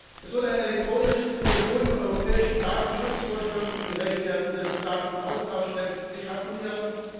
Es wird ein elektronisches, den strengen europäischen Datenschutzvorschriften gerecht werdendes Datenaustauschnetz geschaffen werden.